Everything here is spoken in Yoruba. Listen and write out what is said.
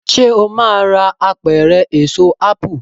ṣe o má rà Apẹ̀rẹ̀ Èso ápù